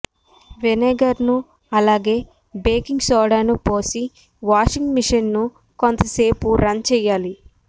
vinegar ను అలాగే baking సోడాను పోసి వాషింగ్ మెషిన్ ను కొంతసేపు రన్ చేయాలి